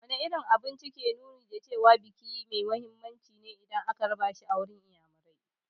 Wane irin abinci ke nuni da cewa biki mai muhimmanci ne idan an raba shi a garin inyamurai?